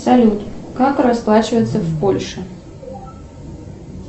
салют как расплачиваться в польше